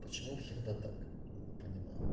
почему всегда так не понимаю